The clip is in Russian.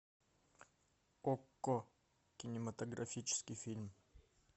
окко кинематографический фильм